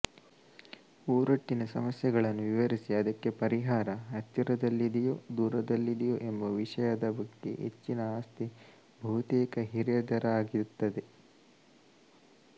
ಊರೊಟ್ಟಿನ ಸಮಸ್ಯೆಗಳನ್ನು ವಿವರಿಸಿ ಅದಕ್ಕೆ ಪರಿಹಾರ ಹತ್ತಿರದಲ್ಲಿದೆಯೋ ದೂರದಲ್ಲಿದೆಯೋ ಎಂಬ ವಿಷಯದ ಬಗ್ಗೆ ಹೆಚ್ಚಿನ ಆಸ್ಥೆ ಬಹುತೇಕ ಹಿರಿಯರದಾಗಿರುತ್ತದೆ